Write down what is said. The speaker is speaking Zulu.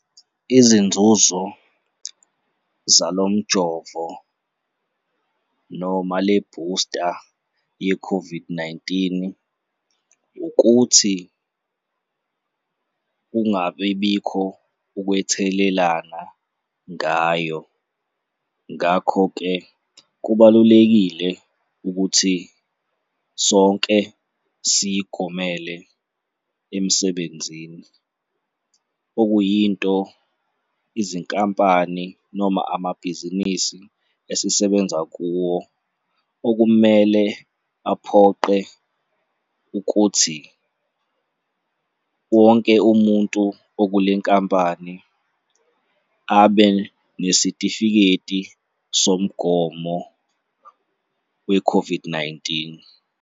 Izinzuzo zalo mjovo noma le-booster ye-COVID-19 ukuthi kungabibikho ukwethelelana ngayo. Ngakho-ke, kubalulekile ukuthi sonke siy'gomele emsebenzini, okuyinto izinkampani noma amabhizinisi esisebenza kuwo okumele aphoqe ukuthi wonke umuntu okule nkampani abe nesitifiketi somgomo we-COVID-19.